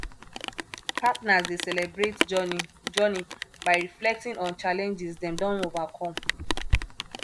partners dey celebrate journey journey by reflecting on challenges dem don overcome